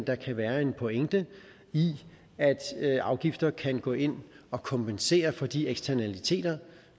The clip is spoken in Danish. der kan være en pointe i at afgifter kan gå ind og kompensere for de eksternaliteter